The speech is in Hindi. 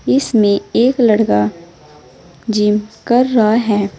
इसमें एक लड़का जिम कर रहा है।